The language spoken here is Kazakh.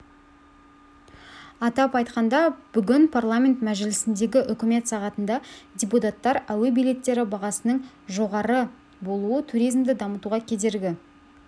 атап айтқанда бүгін парламент мәжілісіндегі үкімет сағатында депутаттар әуе билеттері бағасының жоғары болуы туризмді дамытуға кедергі